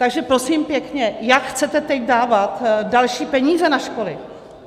Takže prosím pěkně, jak chcete teď dávat další peníze na školy?